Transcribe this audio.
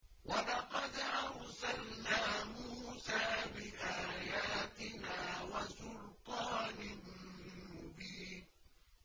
وَلَقَدْ أَرْسَلْنَا مُوسَىٰ بِآيَاتِنَا وَسُلْطَانٍ مُّبِينٍ